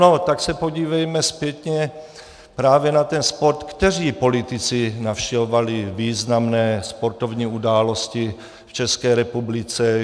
No tak se podívejme zpětně právě na ten sport, kteří politici navštěvovali významné sportovní události v České republice.